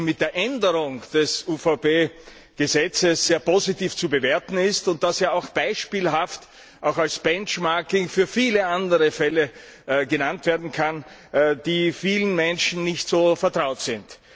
mit der Änderung des UVP Gesetzes sehr positiv zu bewerten ist, und dass dies beispielhaft, auch als Benchmarking, für viele andere Fälle genannt werden kann, die vielen Menschen nicht so vertraut sind.